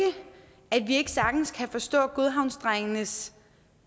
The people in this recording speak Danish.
at vi ikke sagtens kan forstå godhavnsdrengenes